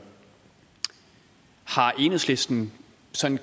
har enhedslisten sådan